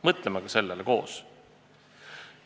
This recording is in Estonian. Mõtleme ka sellele koos!